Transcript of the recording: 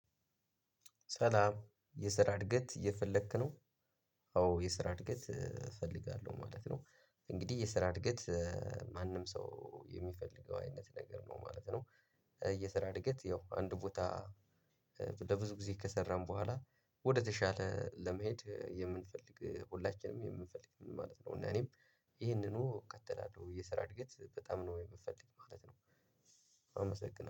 ሰላም የስራ እድገት እየፈለክ ነው? አዎ የስራ እድገት እፈልጋለሁ ማለት ነው። እንግዲህ የስራ እድገት። ማንም ሰው የሚፈልገው አይነት ነገር ነው ማለት ነው። የስራ እድገት ያው አንድ ቦታ። ለብዙ ጊዜ ከሰራን በኋላ ወደተሻለ ለመሄድ የምንፈልግ ሁላችንም የምንፈልግ ማለት ነው። እና እኔም ይሄንኑ እከተላለሁ የስራ እድገት በጣም ነው የምፈልግ ማለት ነው። አመሰግናለሁ